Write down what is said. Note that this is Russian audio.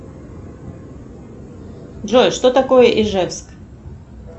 джой что такое ижевск